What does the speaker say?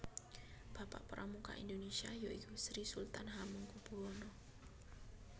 Bapak Pramuka Indonesia yaiku Sri Sultan Hamengkubuwono